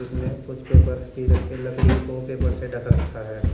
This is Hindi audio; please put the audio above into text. इसमें कुछ पेपर्स भी रख के लकड़ी को पेपर से ढक रखा है।